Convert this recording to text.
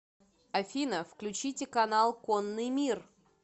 афина включите канал конный мир